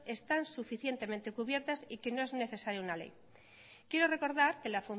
están suficientemente cubiertas y que no es necesario una ley quiero recordar que la